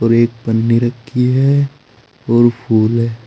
और एक पन्नी रखी है और फूल है।